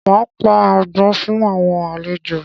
Máa pa àgbọ̀n fún àwọn àlejò